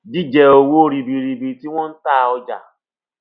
jíjẹ owó ribiribi tí wón ta ọjà